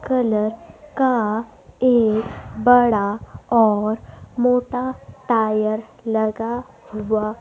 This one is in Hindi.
कलर का एक बड़ा और मोटा टायर लगा हुआ--